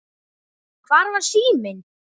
Hvar var síminn?